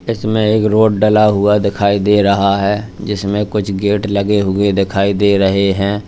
इसमें एक रोड डला हुआ दिखाई दे रहा है जिसमें कुछ गेट लगे हुए दिखाई दे रहे हैं।